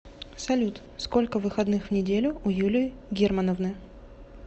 салют сколько выходных в неделю у юлии германовны